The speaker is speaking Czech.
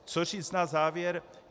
Co říct na závěr?